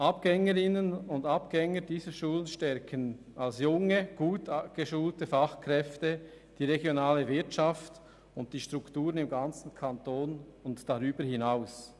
Abgängerinnen und Abgänger dieser Schulen stärken als junge, gut geschulte Fachkräfte die regionale Wirtschaft und die Strukturen im ganzen Kanton und darüber hinaus.